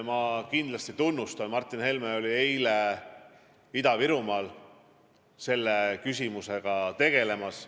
Ma kindlasti tunnustan seda, et Martin Helme oli eile Ida-Virumaal selle küsimusega tegelemas.